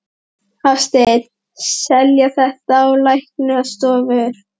Hafsteinn: Selja þetta á læknastofur?